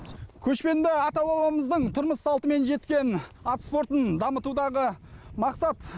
көшпенді ата бабамыздың тұрмыс салтымен жеткен ат спортын дамытудағы мақсат